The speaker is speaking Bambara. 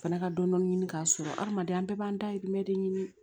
Fana ka dɔni dɔn ɲini k'a sɔrɔ adamaden an bɛɛ b'an dayirimɛ de ɲini